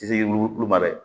Segu olu ma dɛ